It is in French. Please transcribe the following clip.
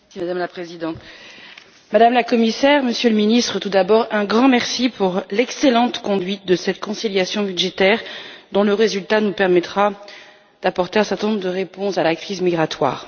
Madame la Présidente, Madame la Commissaire, Monsieur le Ministre, tout d'abord un grand merci pour l'excellente conduite de cette conciliation budgétaire, dont le résultat nous permettra d'apporter un certain nombre de réponses à la crise migratoire.